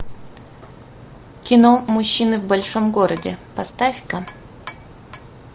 кино мужчины в большом городе поставь ка